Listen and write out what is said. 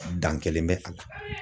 Dan kɛlen bɛ a la